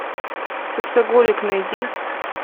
сексоголик найди